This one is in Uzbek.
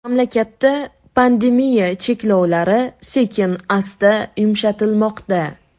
Mamlakatda pandemiya cheklovlari sekin-asta yumshatilmoqda.